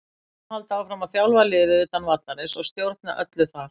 Hann mun halda áfram að þjálfa liðið utan vallarins og stjórna öllu þar.